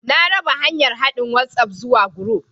Na raba hanyar haɗin WhatsApp zuwa group